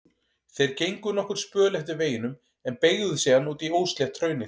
Þeir gengu nokkurn spöl eftir veginum en beygðu síðan út í óslétt hraunið.